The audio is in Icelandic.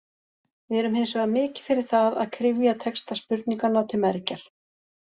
Við erum hins vegar mikið fyrir það að kryfja texta spurninganna til mergjar.